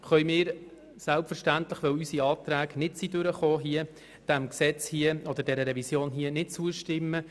Deshalb und weil unsere Anträge nicht angenommen worden sind, können wir der Revision nicht zustimmen.